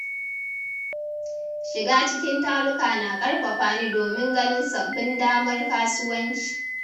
Shiga cikin taruka na ƙarfafa ni domin ganin sabbin damar kasuwanci.